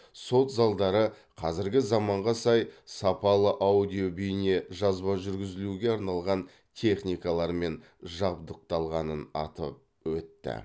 сот залдары қазіргі заманға сай сапалы аудио бейне жазба жүргізілуге арналған техникалармен жабдықталғанын атап өтті